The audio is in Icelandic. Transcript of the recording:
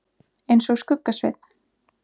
eins og Skugga-Sveinn.